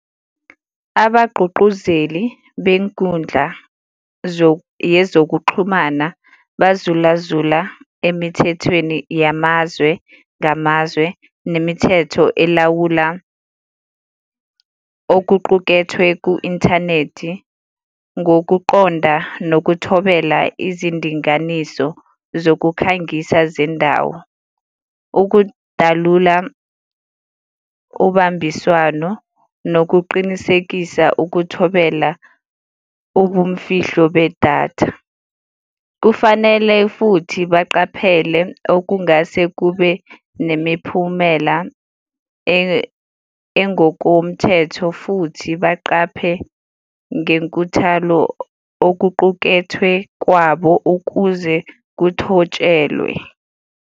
Abagqugquzeli benkundla yezokuxhumana bazulazula emithethweni yamazwe ngamazwe nemithetho elawula okuqukethwe ku-inthanethi ngokuqonda nokuthobela izindinganiso zokukhangisa zendawo. Ukudalula ubambiswano nokuqinisekisa ukuthobela ubumfihlo bedatha. Kufanele futhi baqaphele okungase kube nemiphumela engokomthetho futhi baqaphe ngenkuthalo okuqukethwe kwabo ukuze kuthotshelwe.